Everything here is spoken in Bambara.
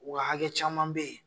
Wa hakɛ caman bɛ yen.